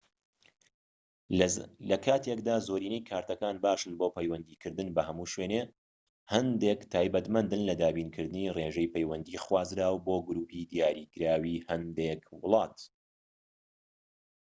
لە کاتێکدا زۆرینەیی کارتەکان باشن بۆ پەیوەندیکردن بە هەموو شوێنێک هەندێک تایبەتمەندن لە دابینکردنی ڕێژەی پەیوەندی خوازراو بۆ گروپی دیاریکراوی هەندێک وڵات